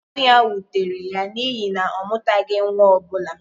Ọnwụ ya wutere ya n’ihi na ọ mụtaghị nwa ọ bụla.